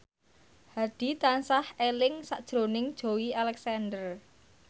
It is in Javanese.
Hadi tansah eling sakjroning Joey Alexander